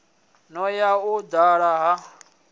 no ya u dala ha